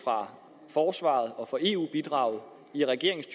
forsvaret og eu bidraget i regeringens